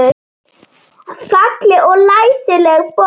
Falleg og læsileg bók.